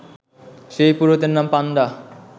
সেই পুরোহিতদের নাম পাণ্ডা